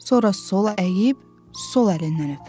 Sonra sola əyib, sol əlindən öpürdü.